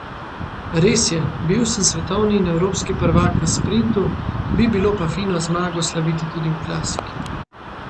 Res je, bil sem svetovni in evropski prvak v sprintu, bi bilo pa fino zmago slaviti tudi v klasiki.